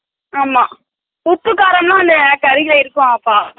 ஆமா Silent உப்பு காரம் எல்லா கரீல இருக்கும் அப்ப